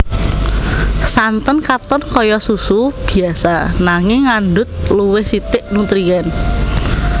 Santen katon kaya susu biasa nanging ngandhut luwih sithik nutrien